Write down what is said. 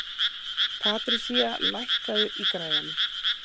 Patrisía, lækkaðu í græjunum.